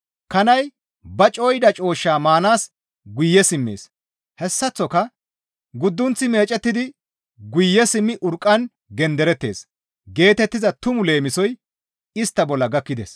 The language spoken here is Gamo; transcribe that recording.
«Kanay ba cooyida cooshshaa maanaas guye simmees.» Hessaththoka, «Guddunththi meecettidi guye simmi urqqan genderettees» geetettiza tumu leemisoy istta bolla gakkides.